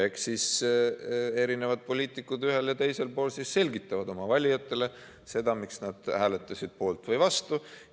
Eks siis poliitikud ühel ja teisel pool selgitavad oma valijatele, miks nad hääletasid poolt või vastu.